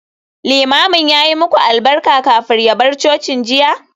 Limamin ya yi muku albarka kafin ya bar coci jiya?